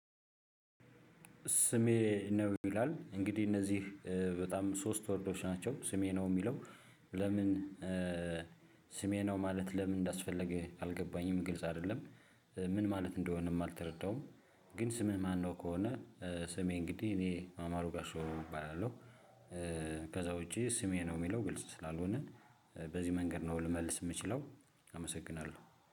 ስሜ ነው ይላል እንግዲህ እነዚህ በጣም ሶስት ወርዶች ናቸው ስሜ ነው የሚለው? ለምን ስሜ ነው ማለት ለምን እንዳስፈለገ አልገባኝም ግልጽ አይደለም። ምን ማለት እንደሆነም አልተረዳውም። ግን ስምህ ማነው? ከሆነ ስሜ እንግዲህ እኔ አማሩ ጋሾሩም እባላለሁ። ከዛ ውጪ ስሜ ነው የሚለው ግልጽ ስላልሆነ በዚህ መንገድ ነው ልመልስ የምችለው። አመሰግናለሁ